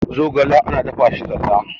zogale ana dafa shi zalla